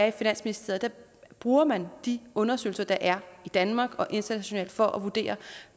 i finansministeriet bruger man de undersøgelser der er i danmark og internationalt for at vurdere